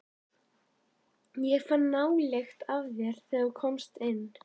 Ég fann nálykt með þér, þegar þú komst inn.